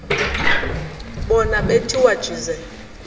bona bethiwa jize